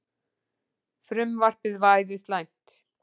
Frumvarpið væri slæmt